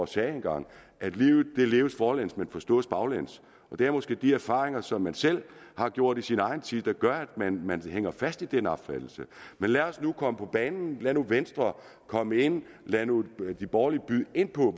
sagde engang at livet leves forlæns men forstås baglæns det er måske de erfaringer som man selv har gjort i sin egen tid der gør at man man hænger fast i den opfattelse men lad os nu komme på banen lad nu venstre komme ind lad nu de borgerlige byde ind på